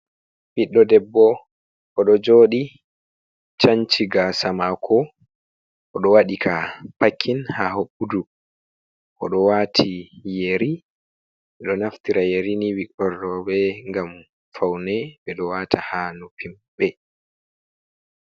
Ɓiɗɗo debbo. Oɗo jooɗi, chanci gaasa maako. Oɗo waɗi ka pakin haa hoɓɓudu, oɗo waati yeri. Ɓe ɗo naftira yeri ni (ɓikkoi roɓe), ngam paune. Ɓe ɗo waata haa noppi maɓɓe.